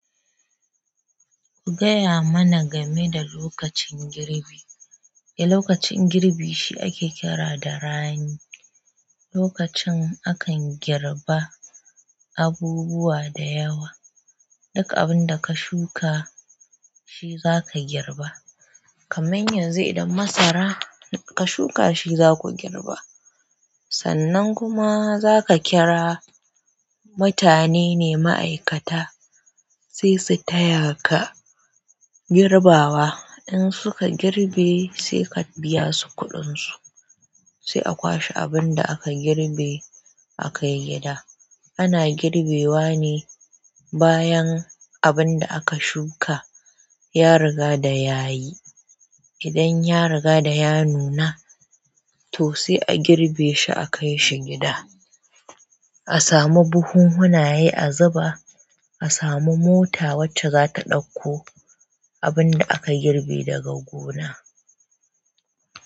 Ku gaya mana game da lokacin girbi. E lokacin girbi shi ake kira da rani lokacin akan girba abubuwa da yawa. Duka abun da ka shuka shi zaka girba. Kamar yanzu idan masara ka shuka shi zaku girba. Sannan kuma zaka kira mutane ne ma'aikata sai su taya ka girbawa. In suka girbe sai ka biya su kuɗin su. Sai a kwashe abin da aka girbe akai gida. Ana girbewa ne bayan abun da aka shuka ya riga da ya yi. Idan ya riga da ya nuna, to sai a girbe shi akai shi gida. A samu buhunhunaye a zuba. A samu mota wacce zata ɗauko abinda aka girbe daga gona.